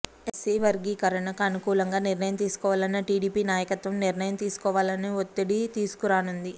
SC వర్గీకరణకు అనుకూలంగా నిర్ణయం తీసుకోవాలని టీడీపీ నాయకత్వం నిర్ణయం తీసుకోవాలని ఒత్తిడి తీసుకురానుంది